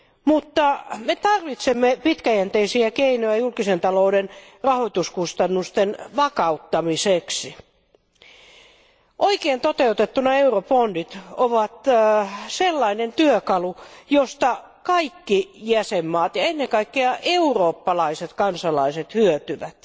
Mutta me tarvitsemme pitkäjänteisiä keinoja julkisen talouden rahoituskustannusten vakauttamiseksi. Oikein toteutettuna eurobondit ovat sellainen työkalu, josta kaikki jäsenvaltiot ja ennen kaikkea eurooppalaiset kansalaiset hyötyvät.